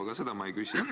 Aga seda ma ei küsi.